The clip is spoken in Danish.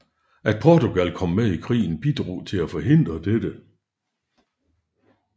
At Portugal kom med i krigen bidrog til at forhindre dette